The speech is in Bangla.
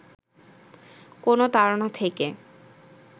কোন তাড়না থেকে